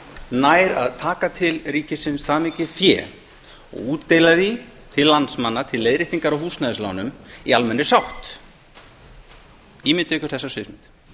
nær að taka til ríkisins það mikið fé og útdeila því til landsmanna til leiðréttingar á húsnæðislánum í almennri sátt ímyndið ykkur þessa sviðsmynd